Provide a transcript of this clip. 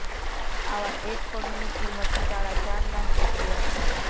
આવા એક પગની કિંમત સાડા ચાર લાખ રુપિયા છે